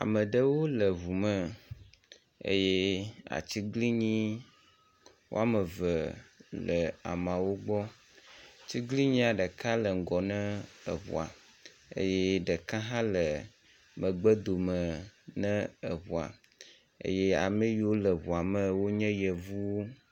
Ameɖewo le ʋu me eyɛ atsiglinyi wɔmeve le amawó gbɔ, tsiglinyia ɖeka le ŋgɔ na eʋua eyɛ ɖeka hã le megbe dome ne eʋua eyɛ ameyiwo le ʋua me wonye yevuwo